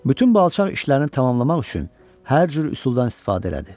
Bütün bu alçaq işlərini tamamlamaq üçün hər cür üsuldan istifadə elədi.